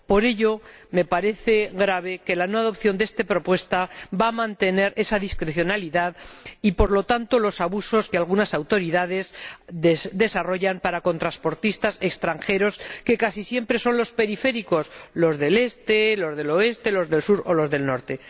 Por ello, me parece grave que la no adopción de esta propuesta vaya a mantener esa discrecionalidad y, por lo tanto, los abusos que algunas autoridades ejercen contra transportistas extranjeros, que casi siempre son los periféricos los del Este, los del Oeste, los del Sur o los del Norte.